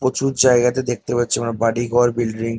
প্রচুর জায়গাতে দেখতে পাচ্ছি আমরা বাড়ি ঘর বিল্ডিং |